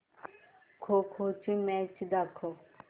खो खो ची मॅच दाखव